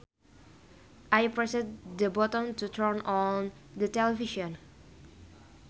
I pressed the button to turn on the television